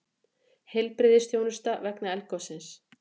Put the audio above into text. Heilbrigðisþjónusta vegna eldgossins